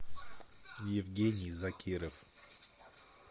евгений закиров